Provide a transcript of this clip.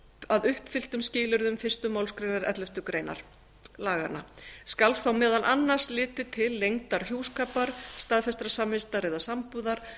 að uppfylltum skilyrðum fyrstu málsgrein elleftu grein laganna skal þá meðal annars litið til lengdar hjúskapar staðfestrar samvistar eða sambúðar